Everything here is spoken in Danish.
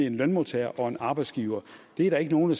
en lønmodtager og arbejdsgiver er der ikke nogen